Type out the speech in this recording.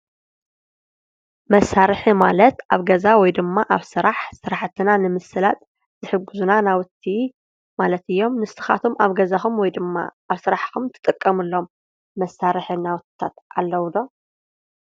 መሳርሒ ማለት ኣብ ገዛ ወይ ኣብ ስራሕ ስራሕትና ንምስላጥ ዝሕጉዝና ናውቲ ማለት እዮም። ንስካትኩም ኣብ ገዛኩም ወይ ድማ ኣብ ስራሕኩም ትጥቀምሎም መሳሒ ናውታት ኣለው ዶ?